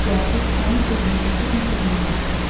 Cəsur onun sözünü kəsib nəsə demək istədi.